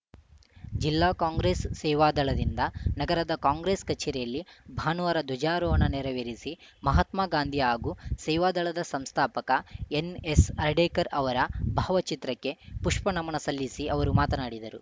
ಜಿಲ್ಲಾ ಕಾಂಗ್ರೆಸ್‌ ಸೇವಾದಳದಿಂದ ನಗರದ ಕಾಂಗ್ರೆಸ್‌ ಕಚೇರಿಯಲ್ಲಿ ಭಾನುವಾರ ಧ್ವಜಾರೋಹಣ ನೆರವೇರಿಸಿ ಮಹಾತ್ಮಗಾಂಧಿ ಹಾಗೂ ಸೇವಾದಳದ ಸಂಸ್ಥಾಪಕ ಎನ್‌ಎಸ್‌ಹರ್ಡೆಕರ್‌ ಅವರ ಭಾವಚಿತ್ರಕ್ಕೆ ಪುಷ್ಪನಮನ ಸಲ್ಲಿಸಿ ಅವರು ಮಾತನಾಡಿದರು